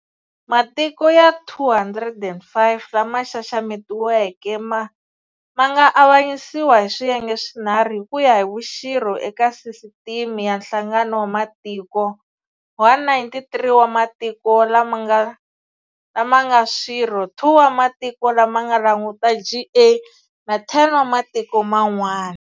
Matiko ya 205 lama xaxametiweke ma nga avanyisiwa hi swiyenge swinharhu hi ku ya hi vuxirho eka Sisiteme ya Nhlangano wa Matiko -193 wa matiko lama nga swirho, 2 wa matiko lama langutaka GA, na 10 wa matiko man'wana.